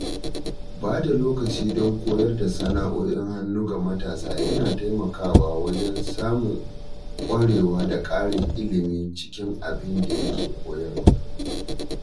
Ba da lokaci don koyar da sana’o’in hannu ga matasa yana taimakawa wajen samun ƙwarewa da ƙarin ilimi cikin abinda ake koyarwa.